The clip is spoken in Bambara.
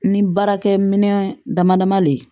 Ni baarakɛminɛn dama dama le ye